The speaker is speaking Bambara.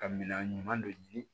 Ka minan ɲuman don